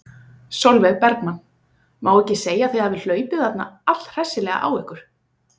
Sólveig Bergmann: Má ekki segja að þið hafið hlaupið þarna allhressilega á ykkur?